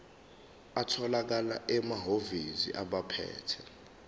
atholakala emahhovisi abaphethe